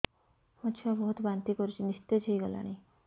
ମୋ ଛୁଆ ବହୁତ୍ ବାନ୍ତି କରୁଛି ନିସ୍ତେଜ ହେଇ ଗଲାନି